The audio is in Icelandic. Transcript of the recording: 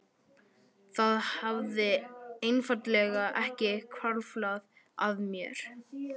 Það hafði einfaldlega ekki hvarflað að mér.